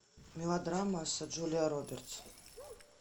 мелодрама с джулией робертс